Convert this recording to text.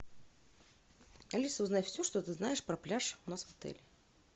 алиса узнай все что ты знаешь про пляж у нас в отеле